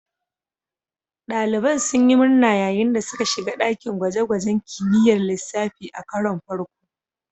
Daliban sun yi murna yayin da suka shiga dakin gwaje-gwajen kimiyyar lissafi a karon farko.